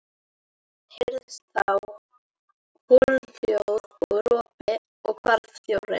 Heyrðist þá holhljóð og ropi og hvarf þjórinn.